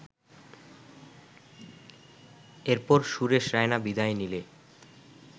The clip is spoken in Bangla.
এরপর সুরেশ রায়না বিদায় নিলে